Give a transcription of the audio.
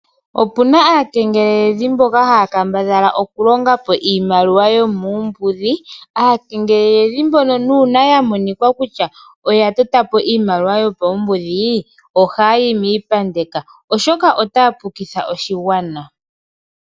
Opuna aakengeleledhi mboka haya kambadhala oku longa po iimaliwa yomuumbudhi. Aakengeleledhi mbono nuuna ya monika kutya oya tota po iimaliwa yopaumbudhi ohayayi miipandeka, oshoka otaya pukitha oshigwana.